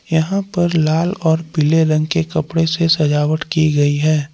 यहां पर लाल और पीले रंग के कपड़े से सजावट की गई है।